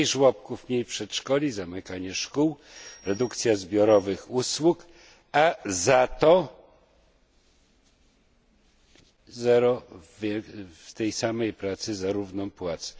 Mniej żłobków, mniej przedszkoli, zamykanie szkół, redukcję zbiorowych usług, a za to zero w tej samej pracy za równą płacę.